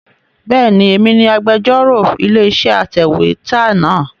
Bẹ́ẹ̀ni, èmi ni agbẹ́jọ́rò ilé-iṣẹ́ atẹ̀wétà náà.